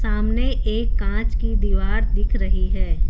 सामने एक कांच की दीवार दिख रही है।